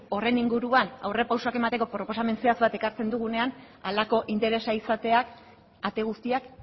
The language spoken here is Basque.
horren inguruan aurrerapausoak emateko proposamen zehatz bat ekartzen dugunean halako interesa izateak ate guztiak